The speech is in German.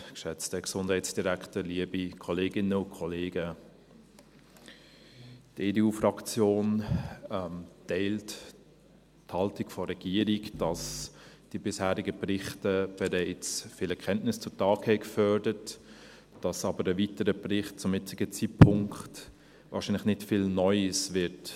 Die EDU-Fraktion teilt die Haltung der Regierung, wonach die bisherigen Berichte bereits viele Kenntnisse zu Tage gefördert haben, ein weiterer Bericht aber zum jetzigen Zeitpunkt wahrscheinlich nicht viel Neues zeigen wird.